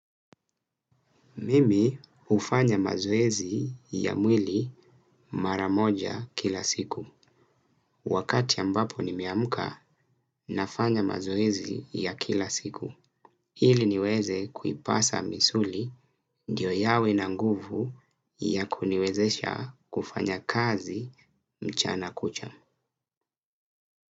Mimi hufanya mazoezi ya mwili mara moja kila siku. Wakati ambapo nimeamka nafanya mazoezi ya kila siku. Ili niweze kuipasa misuli ndiyo yawe na nguvu ya kuniwezesha kufanya kazi mchana kuchwa.